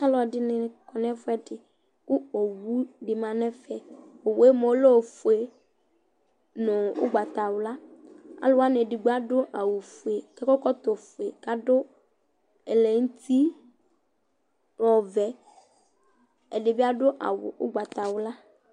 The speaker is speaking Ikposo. Ɔlɔdɩnɩ kɔ nʋ ɛfʋɛdɩ kʋ owu dɩ ma nʋ ɛfɛ Owu yɛ mʋa ɔlɛ ofue nʋ ʋgbatawla Alʋ wanɩ edigbo adʋ awʋfue kʋ akɔ ɛkɔtɔfue kʋ adʋ ɛlɛnʋti ɔvɛ Ɛdɩ bɩ adʋ awʋ ʋgbatawla